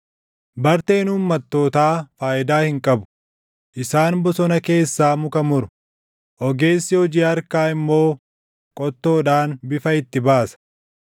Barteen uummattootaa faayidaa hin qabu; isaan bosona keessaa muka muru; ogeessi hojii harkaa immoo qottoodhaan bifa itti baasa.